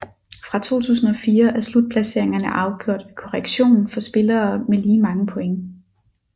Fra 2004 er slutplaceringerne afgjort ved korrektion for spillere med lige mange point